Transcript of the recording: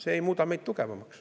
See ei muuda meid tugevamaks.